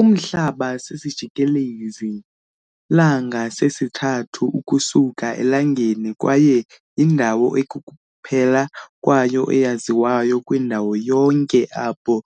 Umhlaba sisijikelezi -langa sesithathu ukusuka eLangeni kwaye yindawo ekukuphela kwayo eyaziwayo kwindalo yonke apho